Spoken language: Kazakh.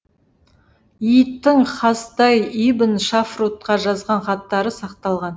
и тың хасдай ибн шафрутқа жазған хаттары сақталған